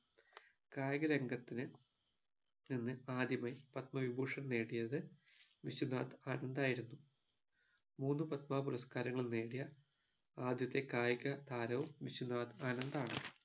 കായിക രംഗത്തിനു നിന്ന് ആദ്യമായി പത്മവിഭൂഷൺ നേടിയത് വിശ്വനാഥ് ആനന്ത് ആയിരുന്നു മൂന്നു പത്മ പുരസ്കാരങ്ങളും നേടിയ ആദ്യത്തെ കായിക താരവും വിശ്വനാഥ് ആനന്ത് ആണ്